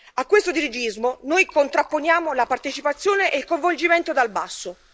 A questo dirigismo, noi contrapponiamo la partecipazione e il coinvolgimento dal basso.